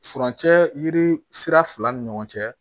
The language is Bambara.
Furancɛ yiri sira fila ni ɲɔgɔn cɛ